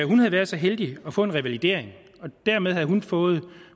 hun havde været så heldig at få revalidering og dermed havde hun fået